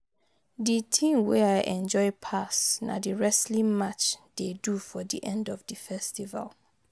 The thing wey I enjoy pass na the wrestling match dey do for the end of the festival